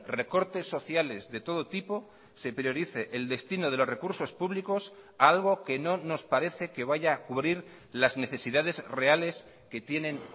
recortes sociales de todo tipo se priorice el destino de los recursos públicos a algo que no nos parece que vaya a cubrir las necesidades reales que tienen